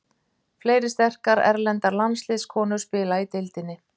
Fleiri sterkar erlendar landsliðskonur spila í deildinni.